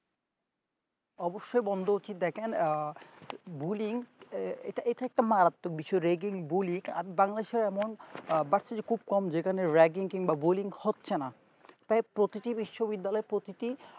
অবশ্যই বন্ধ উচিত দেখেন আহ bullying এটা এটা একটা মারাত্মক বিষয় ragging bullying আমি bangladesh এর এমন খুব কম যেখানে ragging কিংবা bullying হচ্ছে না তাই প্রতিটি বিশ্ব বিদ্যালয়ে প্রতিটি